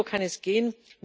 Nur so kann es gehen!